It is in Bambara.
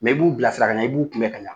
i b'u bilasira k'a ɲa, i b'u kunbɛ k'a ɲa.